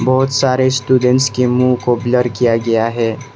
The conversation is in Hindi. बहुत सारे स्टूडेंट के मुंह को ब्लर किया गया है।